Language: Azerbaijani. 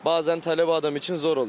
Bəzən tələbə adam üçün zor olur.